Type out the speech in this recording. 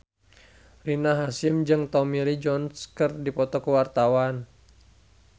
Rina Hasyim jeung Tommy Lee Jones keur dipoto ku wartawan